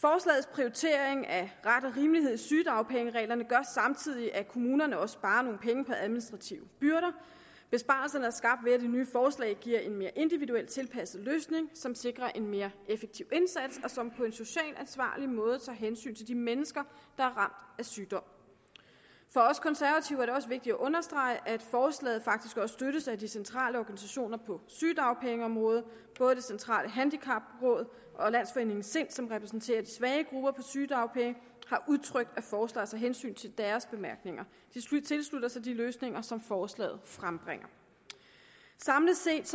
prioritering af ret og rimelighed i sygedagpengereglerne gør samtidig at kommunerne også sparer nogle penge på administrative byrder besparelserne er skabt ved at det nye forslag giver en mere individuel tilpasset løsning som sikrer en mere effektiv indsats og som på en socialt ansvarlig måde tager hensyn til de mennesker der er ramt af sygdom for os konservative er det også vigtigt at understrege at forslaget faktisk også støttes af de centrale organisationer på sygedagpengeområdet både det centrale handicapråd og landsforeningen sind som repræsenterer de svage grupper på sygedagpenge har udtrykt at forslaget tager hensyn til deres bemærkninger de tilslutter sig de løsninger som forslaget frembringer samlet set